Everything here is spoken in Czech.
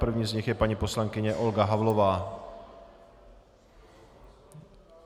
První z nich je paní poslankyně Olga Havlová.